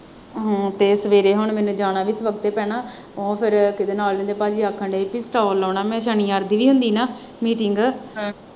ਹਾਂ ਤੇ ਸਵੇਰ ਹੁਣ ਮੈਨੂੰ ਜਾਣਾ ਵੀ ਫਿਰ ਉੱਥੇ ਪੈਣਾ ਤਾਂ ਫਿਰ ਪਾਜੀ ਆਖਣ ਦੇ ਹੀ ਪੀ ਸਟਾਲ ਲਾਉਣਾ ਮੈਂ ਸਨੀਵਾਰ ਦੀ ਵੀ ਹੁੰਦੀ ਨਾ meeting